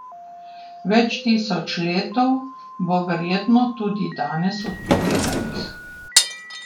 Več tisoč letov bo verjetno tudi danes odpovedanih.